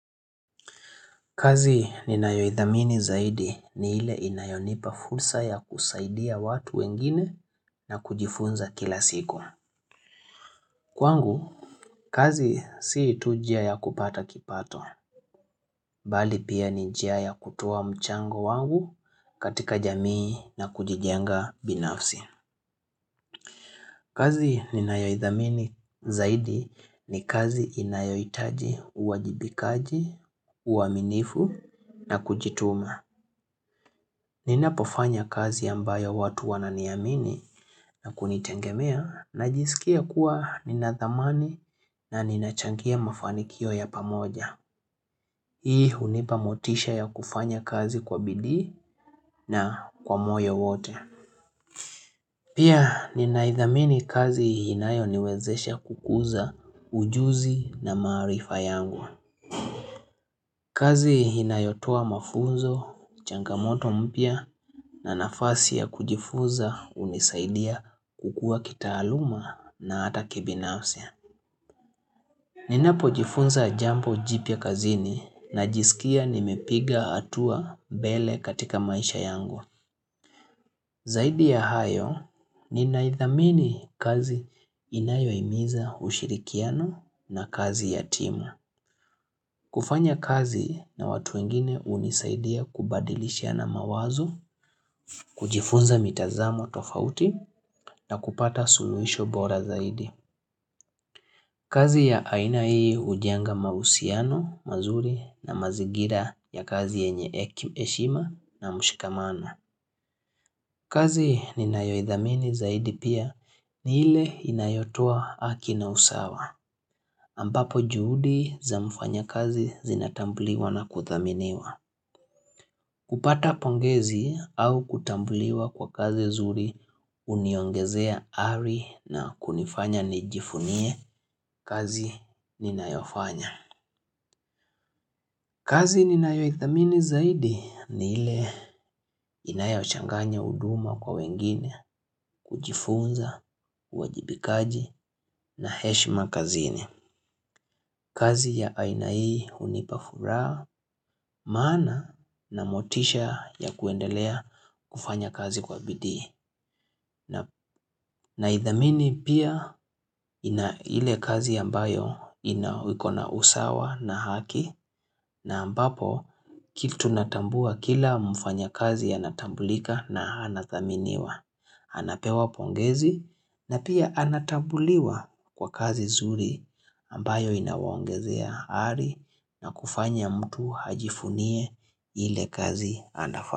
Kazi ninayoithamini zaidi ni ile inayonipa fursa ya kusaidia watu wengine na kujifunza kila siku. Kwangu, kazi si tu njia ya kupata kipato, bali pia ni njia ya kutoa mchango wangu katika jamii na kujijenga binafsi. Kazi ninayoithamini zaidi ni kazi inayohitaji uwajibikaji, uaminifu na kujituma. Ninapofanya kazi ambayo watu wananiamini na kunitegemea najisikia kuwa nina thamani na ninachangia mafanikio ya pamoja. Hii hunipa motisha ya kufanya kazi kwa bidii na kwa moyo wote. Pia ninaithamini kazi inayo niwezesha kukuza ujuzi na maarifa yangu. Kazi inayotoa mafunzo, changamoto mpya na nafasi ya kujifunza hunisaidia kukua kitaaluma na hata kibinafsi Ninapojifunza jambo jipya kazini najisikia nimepiga hatua mbele katika maisha yangu. Zaidi ya hayo, ninaithamini kazi inayohimiza ushirikiano na kazi ya timu. Kufanya kazi na watu wengine hunisaidia kubadilishiana mawazo, kujifunza mitazamo tofauti na kupata suluhisho bora zaidi. Kazi ya aina hii hujenga mahusiano, mazuri na mazingira ya kazi yenye heshima na mshikamano. Kazi ninayoidhamini zaidi pia ni ile inayotoa haki na usawa. Ambapo juhudi za mfanya kazi zinatambuliwa na kuthaminiwa. Kupata pongezi au kutambliwa kwa kazi nzuri huniongezea ari na kunifanya nijivunie kazi ninayofanya. Kazi ninayoithamini zaidi ni ile inayochanganya huduma kwa wengine kujifunza, uwajibikaji na heshima kazini. Kazi ya aina hii hunipa furaha, maana na motisha ya kuendelea kufanya kazi kwa bidii. Naidhamini pia ile kazi ambayo inawe iko na usawa na haki, na ambapo kitu natambua kila mfanya kazi anatambulika na anathaminiwa. Anapewa pongezi, na pia anatambuliwa kwa kazi nzuri ambayo inawaongezea ari na kufanya mtu ajivunie ile kazi anfanya.